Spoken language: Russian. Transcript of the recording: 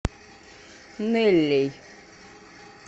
неллей